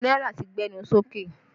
Owó náírà ti gbẹnu sókè